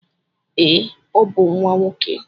Ee, ọ bụ nwa nwoke.